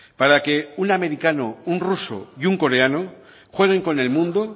para que un americano un ruso y un coreano jueguen con el mundo